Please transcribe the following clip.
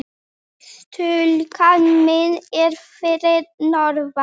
Stúlkan mín er fyrir norðan.